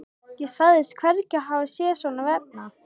Ég sagðist hvergi hafa séð svona vefnað.